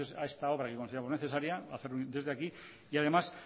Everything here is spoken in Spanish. a esta obra que consideramos necesaria hacerlo desde aquí y además